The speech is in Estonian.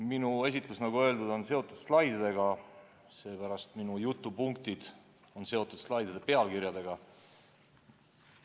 Minu esitlus, nagu öeldud, on seotud slaididega ja seepärast on minu jutupunktid seotud slaidide pealkirjadega.